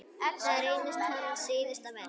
Það reynist hans síðasta verk.